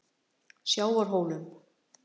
Sjávarhólum